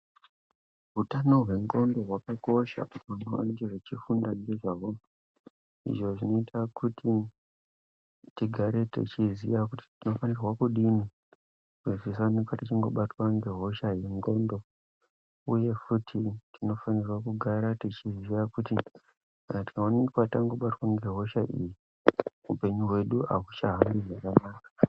Utano hwendxondo hwakakosha kuti vantu vafunde ngezvazvo izvo zvinoita kuti tigare techiziya kuti tinofanirwa kudini kuita kuti tisaoneka teibatwa ngehosha yendxondo. Uye futi tinofanira kugara teiziya kuti tikaoneka tabatwa ngehosha iyi upenyu hwedu ahuchahambi zvakanaka.